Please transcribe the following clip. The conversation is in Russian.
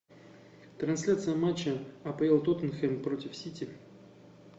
трансляция матча апл тоттенхэм против сити